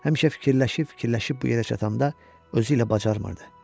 Həmişə fikirləşib-fikirləşib bu yerə çatanda özü ilə bacarmırdı.